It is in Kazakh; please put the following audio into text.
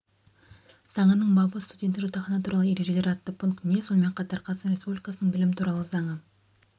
заңының бабы студенттік жатақхана туралы ережелер атты пунктіне сонымен қатар қазақстан республикасының білім туралы заңы